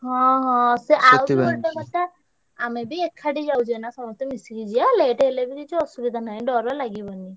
ହଁ ହଁ ସେ ଆଉ ବି ଗୋଟେ କଥା ଆମେ ବି ଏକାଠି ଯାଉଛେ ନା ସମସ୍ତେ ମିଶିକି ଯିବା late ହେଲେବି କିଛି ଅସୁବିଧା ନାହିଁ, ଡ଼ର ଲାଗିବନି।